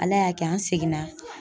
Ala y'a kɛ an seginna